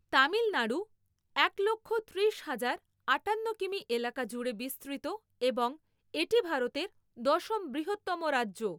তামিলনাড়ু, এক লক্ষ ত্রিশ হাজার আটান্ন কিমি এলাকা জুড়ে বিস্তৃত এবং এটি ভারতের দশম বৃহত্তম রাজ্য।